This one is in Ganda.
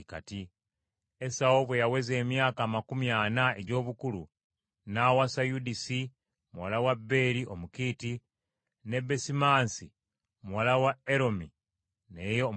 Esawu bwe yaweza emyaka amakumi ana egy’obukulu, n’awasa Yudisi muwala wa Beeri Omukiiti, ne Besimansi muwala wa Eroni naye Omukiiti.